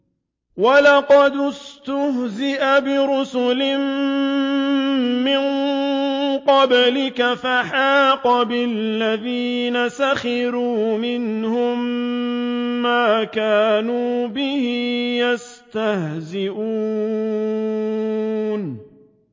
وَلَقَدِ اسْتُهْزِئَ بِرُسُلٍ مِّن قَبْلِكَ فَحَاقَ بِالَّذِينَ سَخِرُوا مِنْهُم مَّا كَانُوا بِهِ يَسْتَهْزِئُونَ